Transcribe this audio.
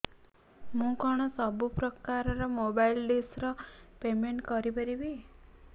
ମୁ କଣ ସବୁ ପ୍ରକାର ର ମୋବାଇଲ୍ ଡିସ୍ ର ପେମେଣ୍ଟ କରି ପାରିବି